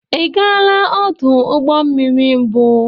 Ijeela ọdụ ụgbọ mmiri mbụ?